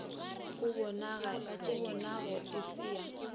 o bonago e se ya